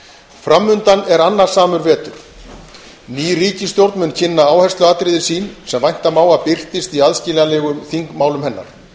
fram undan er annasamur vetur ný ríkisstjórn mun kynna áhersluatriði sín sem vænta má að birtist í aðskiljanlegum þingmálum hennar